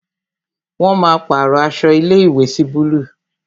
Wọn máa pàrọ aṣọ ilé ìwé sí búlúù